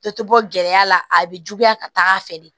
Dɔ tɛ bɔ gɛlɛya la a bɛ juguya ka taa fɛ de